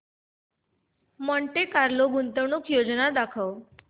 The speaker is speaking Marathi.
मॉन्टे कार्लो गुंतवणूक योजना दाखव